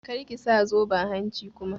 Kar ki sa zoben hanci kuma!